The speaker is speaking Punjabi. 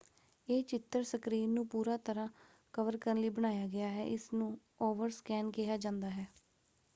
ਇਹ ਚਿੱਤਰ ਸਕ੍ਰੀਨ ਨੂੰ ਪੂਰਾ ਤਰ੍ਹਾਂ ਕਵਰ ਕਰਨ ਲਈ ਬਣਾਇਆ ਗਿਆ ਹੈ। ਇਸ ਨੂੰ ਓਵਰਸਕੈਨ” ਕਿਹਾ ਜਾਂਦਾ ਹੈ।